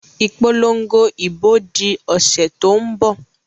Ìpolongo ìbò di ọ̀sẹ̀ tó ń bọ̀